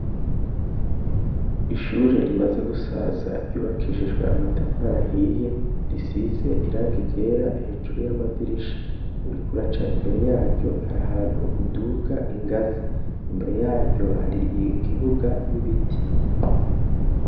Ishure rimaze gusaza ryubakishijwe amatafari ahiye risize irangi ryera hejuru y'amadirisha. Uriko uraca imbere y'aryo hari ahantu uduga ingazi, imbere y'aryo hari ikibuga n'ibiti.